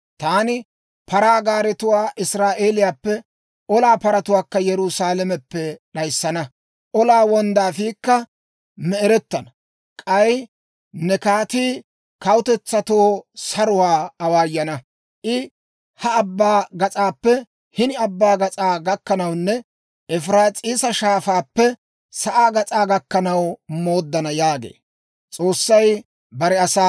Taani, «paraa gaaretuwaa Israa'eeliyaappe, olaa paratuwaakka Yerusaalameppe d'ayissana; olaa wonddaafiikka me"erettana. K'ay ne kaatii kawutetsatoo saruwaa awaayana; I ha abbaa gas'aappe hini abbaa gas'aa gakkanawunne Efiraas'iisa Shaafaappe sa'aa gas'aa gakkanaw mooddana yaagee.